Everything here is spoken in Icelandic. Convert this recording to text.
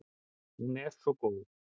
Hún er svo góð.